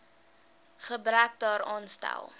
gebrek daaraan stel